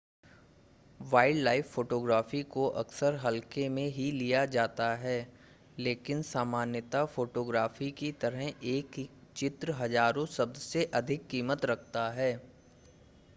wildlife photography को अक्सर हल्के में ही लिया जाता है लेकिन सामान्यतः फ़टोग्राफ़ी की तरह ही एक चित्र हज़ारों शब्द से अधिक कीमत रखता है